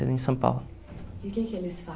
em São Paulo. E o que é que eles